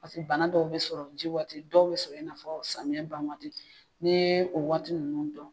Paser bana dɔw bɛ sɔrɔ ji waati dɔw bɛ sɔrɔ i na fɔ samiyɛ ban waat,i ni ye o waati ninnu dɔn.